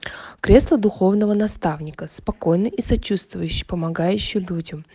кресло духовного наставника спокойно и сочувствующее помогающую людям